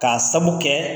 K'a sabu kɛ